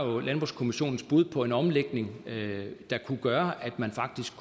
og landbrugskommissionens bud på en omlægning der kunne gøre at man faktisk